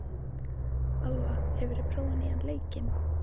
Alva, hefur þú prófað nýja leikinn?